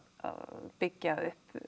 byggja upp